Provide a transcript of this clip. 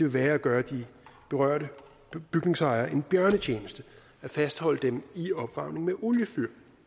være at gøre de berørte bygningsejere en bjørnetjeneste at fastholde dem i at opvarme med oliefyr